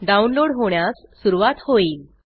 download होण्यास सुरवात होईल